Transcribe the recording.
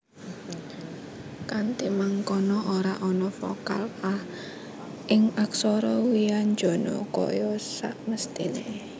Kanthi mangkono ora ana vokal a ing aksara wianjana kaya samestiné